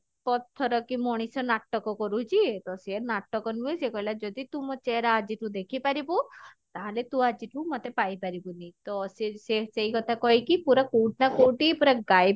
ପଥର କି ମଣିଷ ନାଟକ କରୁଛି ତ ସିଏ ନାଟକ ନୁହେଁ ସେ କହିଲା ଯଦି ତୁ ମୋ ଚେହେରା ଆଜି ଠୁ ଦେଖିପାରିବୁ ତାହେଲେ ତୁ ଆଜି ଠୁ ମୋତେ ପାଇପାରିବୁନି ତ ସେ ସେ ସେଇ କଥା କହିକି ପୁରା କଉଠି ନା କଉଠି ପୁରା ଗାଏବ